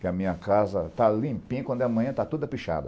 Que a minha casa está limpinha quando amanhã está toda pichada.